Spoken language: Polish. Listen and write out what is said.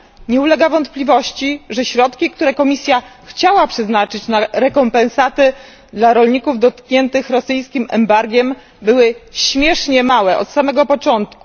Nie ulega wątpliwości, że środki, które Komisja chciała przeznaczyć na rekompensaty dla rolników dotkniętych rosyjskim embargiem, były śmiesznie małe od samego początku.